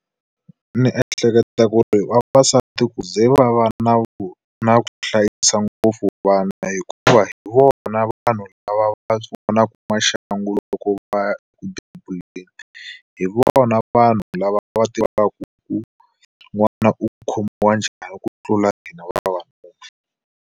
Ni ehleketa ku ri vavasati ku ze va va na na ku hlayisa ngopfu vana, hikuva hi vona vanhu lava va vonaka maxangu loko va ya eku bebuleni. Hi vona vanhu lava va tivaku ku n'wana u ku khomiwa njhani ku tlula hina vavanuna.